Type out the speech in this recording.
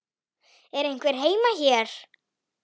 Er einhver heima hér?